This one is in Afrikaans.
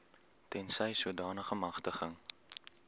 tensy sodanige magtiging